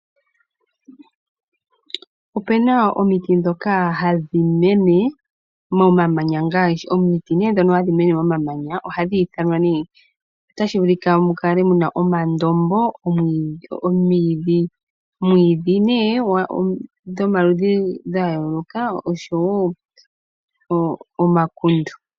Ope na omiti ndhono hadhi mene momamanya ngaashi omandombo, omwiidhi dhomaludhi gayooloka oshowo omakundu.